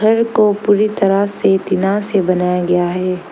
घर को पूरी तरह से तीना से बनाया गया है।